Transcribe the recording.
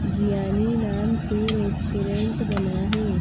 ज्ञानी नाम से रेस्टोरेंट बना है।